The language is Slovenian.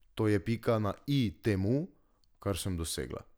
To je pika na i temu, kar sem dosegla.